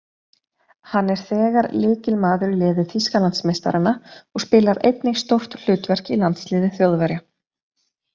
Hann er þegar lykilmaður í liði Þýskalandsmeistaranna og spilar einnig stórt hlutverk í landsliði Þjóðverja.